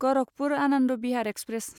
Gorakhpur Anand Bihar express